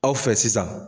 Aw fɛ sisan